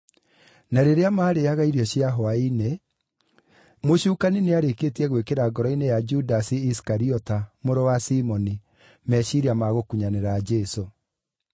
Na rĩrĩa maarĩĩaga irio cia hwaĩ-inĩ, Mũcukani nĩarĩkĩtie gwĩkĩra ngoro-inĩ ya Judasi Isikariota, mũrũ wa Simoni, meciiria ma gũkunyanĩra Jesũ,